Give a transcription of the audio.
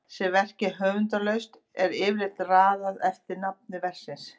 sé verkið höfundarlaust er yfirleitt raðað eftir nafni verksins